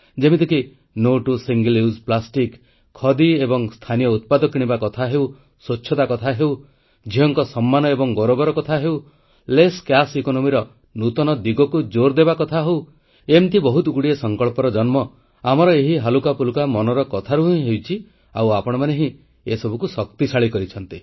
ଯେମିତିକି ଏକକ ବ୍ୟବହାରଯୋଗ୍ୟ ପ୍ଲାଷ୍ଟିକ ବର୍ଜନ ଖଦି ଏବଂ ସ୍ଥାନୀୟ ଉତ୍ପାଦ କିଣିବା ସ୍ୱଚ୍ଛତା ଝିଅଙ୍କୁ ସମ୍ମାନ ଏବଂ ଗୌରବ କମ ନଗଦ ଅର୍ଥବ୍ୟବସ୍ଥା ନୂଆ ଦିଗକୁ ଜୋର ଦେବା ଏମିତି ବହୁତଗୁଡ଼ିଏ ସଂକଳ୍ପର ଜନ୍ମ ଆମର ଏହି ହାଲୁକାଫୁଲକା ମନର କଥାରୁ ହିଁ ହୋଇଛି ଆଉ ଆପଣମାନେ ହିଁ ଏ ସବୁକୁ ଶକ୍ତିଶାଳୀ କରିଛନ୍ତି